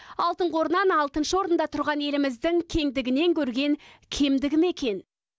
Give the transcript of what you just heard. алтын қорынан алтыншы орында тұрған еліміздің кеңдігінен көрген кемдігі ме екен